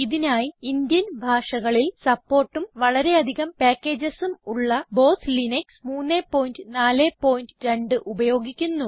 ഇതിനായി ഇന്ത്യൻ ഭാഷകളിൽ സപ്പോർട്ടും വളരെ അധികം പ്യാക്കേജസും ഉള്ള ബോസ് ലിനക്സ് 342 ഉപയോഗിക്കുന്നു